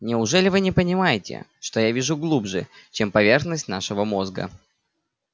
неужели вы не понимаете что я вижу глубже чем поверхность нашего мозга